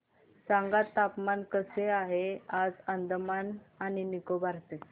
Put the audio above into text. सांगा हवामान कसे आहे आज अंदमान आणि निकोबार चे